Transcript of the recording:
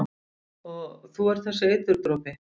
Og þú ert þessi eiturdropi?